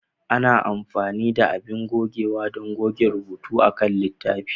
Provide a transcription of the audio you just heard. Ana amfani da abin gogewa don goge rubutu akan littafi.